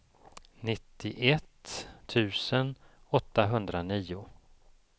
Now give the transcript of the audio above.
nittioett tusen åttahundranio